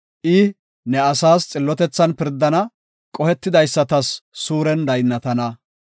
I ne asaas xillotethan pirdana; qohetidaysatas suuren daynnatana.